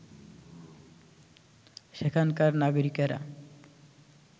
সেখানকার নাগরিকেরা